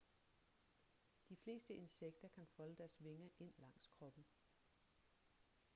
de fleste insekter kan folde deres vinger ind langs kroppen